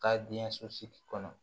Ka den so sigi kɔnɔ